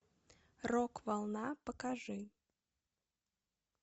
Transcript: рок волна покажи